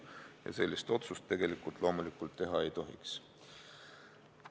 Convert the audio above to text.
Ja sellist otsust loomulikult teha ei tohiks.